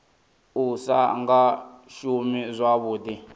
u sa nga shumi zwavhuḓi